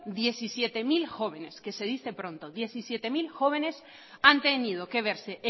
diecisiete mil jóvenes que se dice pronto diecisiete mil jóvenes han tenido que verse